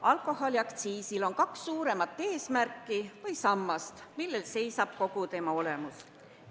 Alkoholiaktsiisil on kaks suuremat eesmärki või sammast, millele tugineb kogu tema olemus.